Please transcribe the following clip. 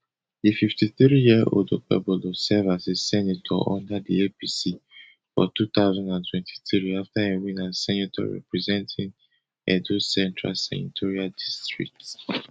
di fifty-threeyearold okpebolo serve as a senator under di apc for two thousand and twenty-three afta e win as senator representing edo central senatorial district